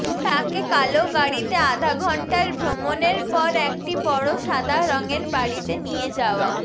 তাকে কালো গাড়িতে আধা ঘন্টার ভ্রমণের পর একটি বড় সাদা রঙের বাড়িতে নিয়ে যাওয়া